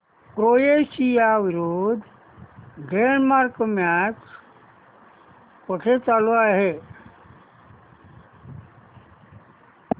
Croatia विरुद्ध Denmark match कुठे चालू आहे